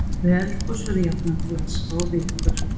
Við eldgos verður jafnan til aska og vikur.